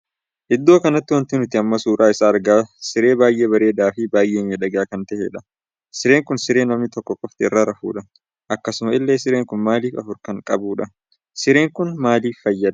Iddoo kanatti wanti nuti amma suuraa isaa argaa siree baay'ee bareedaa fi baay'ee miidhagaa kan tahedha. sireen kun siree namni tokko qofti irra rafuudha. akkasuma illee sireen kun miilla afur kan qabudha. sireen kun maaliif fayyada?